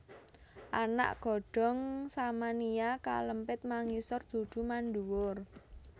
Anak godhong Samania kalempit mangisor dudu manduwur